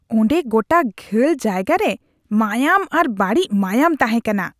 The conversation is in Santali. ᱚᱸᱰᱮ ᱜᱚᱴᱟ ᱜᱷᱟᱹᱞ ᱡᱟᱭᱜᱟ ᱨᱮ ᱢᱟᱭᱟᱢ ᱟᱨ ᱵᱟᱹᱲᱤᱡ ᱢᱟᱭᱟᱢ ᱛᱟᱦᱮᱸᱠᱟᱱᱟ ᱾